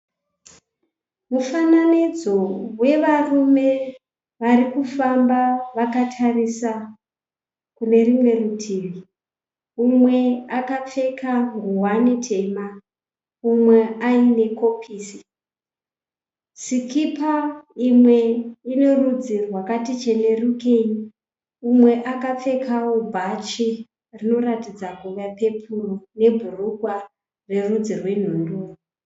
Mufananidzo wevarume varikufamba vakatarisa kunerumwe rutivi. Umwe akapfeka nguwani tema umwe aine kopisi, sikipa imwe inerudzi rwakati chenerukei. Umwe akapfekawo bhachi rinoratidza kuva pepuru nebhurukwa rerudzi rwebhuruu.